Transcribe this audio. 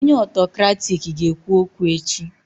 Onye Autokrati ga ekwu okwu echi